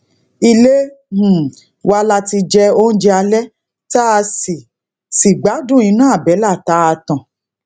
ilé um wa la ti jẹ oúnjẹ alé tá a si si gbadun ina àbélà ta a tan